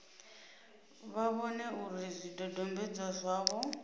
vha vhone uri zwidodombedzwa zwavho